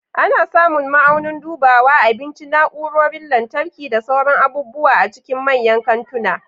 Ana samun ma'aunin dubawa, abinci, na'urorin lantarki, da sauran abubuwa a cikin manyan kantuna.